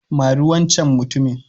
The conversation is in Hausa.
Mari wancen mutumin.